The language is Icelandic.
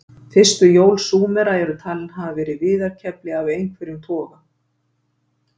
Fyrstu hjól Súmera eru talin hafa verið viðarkefli af einhverjum toga.